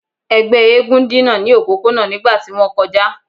Ẹgbẹ eégún dina ni opopona nigba ti won koja